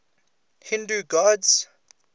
hindu gods